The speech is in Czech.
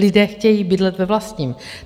Lidé chtějí bydlet ve vlastním.